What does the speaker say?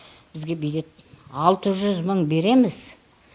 бізге береді алты жүз мың береміз